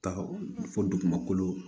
Taga fo dugumakolo